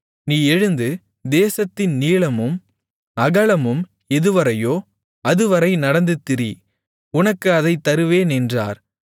நீ எழுந்து தேசத்தின் நீளமும் அகலமும் எதுவரையோ அதுவரை நடந்து திரி உனக்கு அதைத் தருவேன் என்றார்